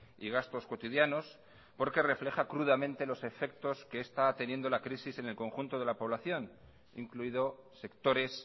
y gastos cotidianos porque refleja crudamente los efectos que está teniendo la crisis en el conjunto de la población incluido sectores